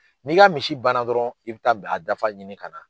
N'i ka misi banna dɔrɔn i bɛ taa b a dafa ɲini ka na.